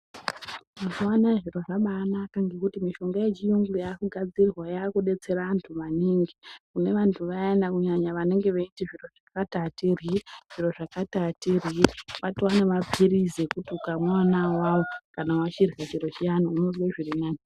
Mazuva anaya zviro zvabanaka ngekuti mishonga yechiyungu yakugadzirwa yakubetsera vantu maningi. Kunevantu vayana kunyanya vanenge veiti zviro zvakati hatiryi, zviro zvakati hatiryi kwatone maphirizi ekuti kana vachirya chiro chiyani unozwe zvirinani.